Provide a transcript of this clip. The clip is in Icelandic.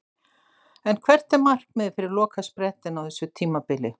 En hvert er markmiðið fyrir lokasprettinn á þessu tímabili?